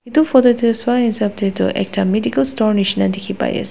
Etu photo toh swa hisap tey toh ekta medical store nishina dekhi pai ase.